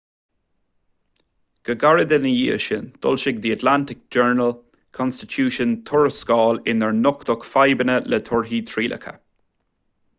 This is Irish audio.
go gairid ina dhiaidh sin d'fhoilsigh the atlanta journal-constitution tuarascáil inar nochtadh fadhbanna le torthaí trialacha